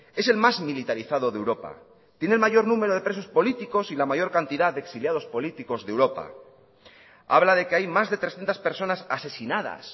es el más militarizado de europa tiene el mayor número de presos políticos y la mayor cantidad de exiliados políticos de europa habla de que hay más de trescientos personas asesinadas